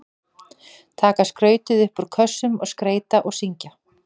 Taka skrautið upp úr kössunum og skreyta og syngja.